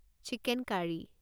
chicken curry